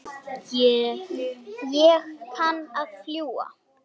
Ég kann að fljúga.